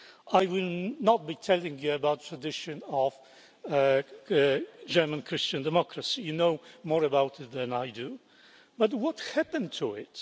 I will not be telling you about the tradition of German Christian democracy you know more about it than I do but what happened to it?